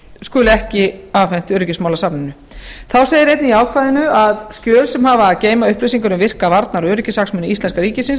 skuli ekki afhent öryggismálasafninu þá segir einnig í ákvæðinu að skjöl sem hafa að geyma upplýsingar um virka varnar og öryggishagsmuni íslenska ríkisins